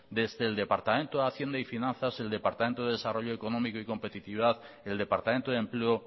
desde el departamento de hacienda y finanzas el departamento de desarrollo económico y competitividad y el departamento de empleo